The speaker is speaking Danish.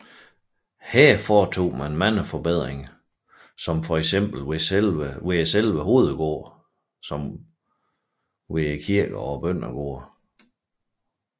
Her foretog han mange forbedringer såvel ved selve hovedgården som ved kirkerne og bøndergårdene